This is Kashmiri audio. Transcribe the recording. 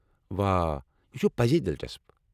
واہ! یہِ چُھ پٔزے دِلچسپ۔